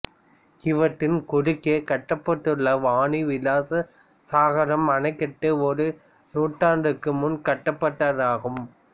இவ்வாற்றின் குறுக்கே கட்டப்பட்டுள்ள வாணி விலாச சாகரம் அணைக்கட்டு ஒரு நூற்றாண்டிற்கு முன் கட்டப்பட்டதாகும்